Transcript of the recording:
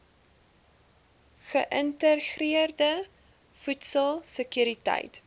geïntegreerde voedsel sekuriteit